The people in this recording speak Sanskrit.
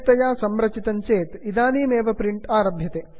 प्रिण्टर् सम्यक्तया संरचितं चेत् इदानीमेव प्रिण्ट् आरभ्यते